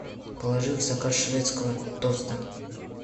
положи в заказ шведского тоста